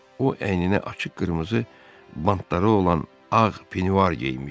O əyninə açıq qırmızı bantları olan ağ penivar geyinmişdi.